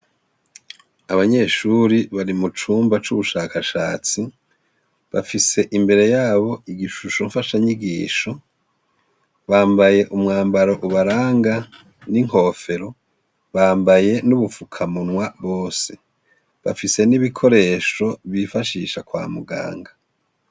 Abanyeshuri bari mucumba c'ubushakashatsi, bafise imbere yabo igishusho mfashanyigisho, bambaye umwambaro ubaranga n'inkofero bambaye n'ubufukamunwa bose bafise n'ibikoresho bifashisha kwa muganga.